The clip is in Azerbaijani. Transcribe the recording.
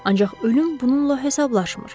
Ancaq ölüm bununla hesablaşmır.